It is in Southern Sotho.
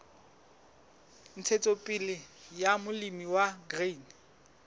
ntshetsopele ya molemi wa grain